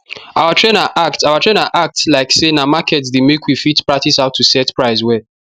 our trainer act our trainer act like say na market day make we fit practice how to set price well